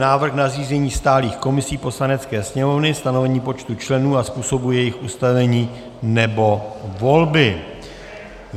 Návrh na zřízení stálých komisí Poslanecké sněmovny, stanovení počtu členů a způsobu jejich ustavení nebo volby